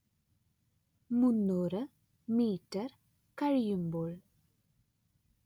മുന്നൂറ്‌ മീറ്റർ കഴിയുമ്പോൾ